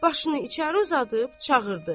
Başını içəri uzadıb çağırdı.